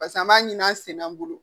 Pas'an b'a ɲini an senna an bolo